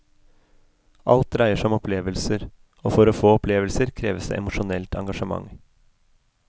Alt dreier seg om opplevelser, og for å få opplevelser kreves det emosjonelt engasjement.